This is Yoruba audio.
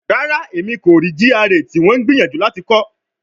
Rara, Emi ko rii GRA ti wọn n gbiyanju lati kọ